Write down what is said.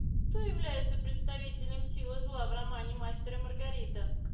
кто является представителем силы зла в романе мастер и маргарита